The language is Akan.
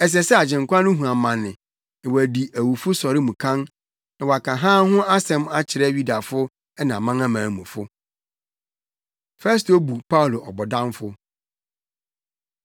ɛsɛ sɛ Agyenkwa no hu amane na wadi awufo sɔre mu kan, na wɔaka hann ho asɛm akyerɛ Yudafo ne amanamanmufo.” Festo Bu Paulo Ɔbɔdamfo